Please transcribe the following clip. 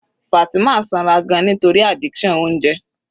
Fatima sanra gan-an nítorí addiction oúnjẹ.